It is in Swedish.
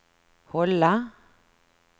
hålla